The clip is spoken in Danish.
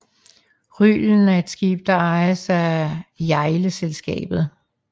Rylen er et skib der ejes af Hjejleselskabet